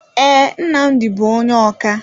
Ee, Nnamdi bú onye ọkà.